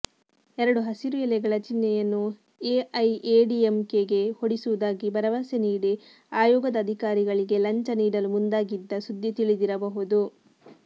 ಎರಡು ಹಸಿರು ಎಲೆಗಳ ಚಿನ್ಹೆಯನ್ನು ಎಐಎಡಿಎಂಕೆಗೆ ಕೊಡಿಸುವುದಾಗಿ ಭರವಸೆ ನೀಡಿ ಆಯೋಗದ ಅಧಿಕಾರಿಗಳಿಗೆ ಲಂಚ ನೀಡಲು ಮುಂದಾಗಿದ್ದ ಸುದ್ದಿ ತಿಳಿದಿರಬಹುದು